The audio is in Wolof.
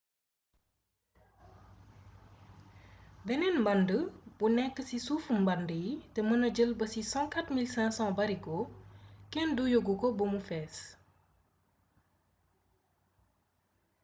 beneen mbànd bu nekk ci suufu mbànd yi te mëna jël ba ci 104 500 barigo kenn duyagu ko ba mu fees